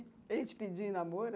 Ele te pediu em namoro?